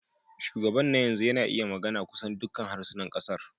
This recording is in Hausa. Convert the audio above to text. Shugaban na yanzu yana iya magana kusan dukkan harsunan kasar.